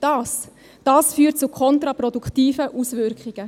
Dies führt zu kontraproduktiven Auswirkungen.